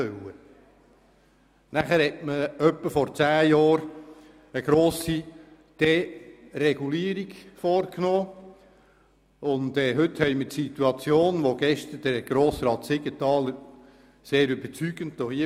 Vor etwa zehn Jahren hat man eine grosse Deregulierung vorgenommen, und wie die Situation heute ist, hat Grossrat Siegenthaler gestern überzeugend dargestellt.